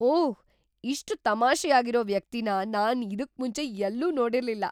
ಓಹ್! ಇಷ್ಟ್ ತಮಾಷೆಯಾಗಿರೋ ವ್ಯಕ್ತಿನ ನಾನ್ ಇದುಕ್ಮುಂಚೆ ಎಲ್ಲೂ ನೋಡಿರ್ಲಿಲ್ಲ!